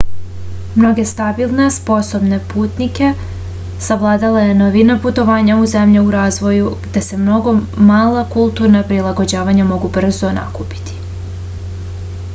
mnoge stabilne sposobne putnike savladala je novina putovanja u zemlje u razvoju gde se mnoga mala kulturna prilagođavanja mogu brzo nakupiti